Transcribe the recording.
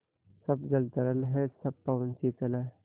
सब जल तरल है सब पवन शीतल है